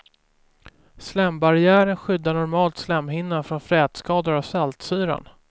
Slembarriären skyddar normalt slemhinnan från frätskador av saltsyran.